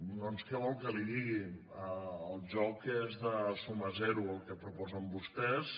doncs què vol que li digui el joc és de suma zero el que proposen vostès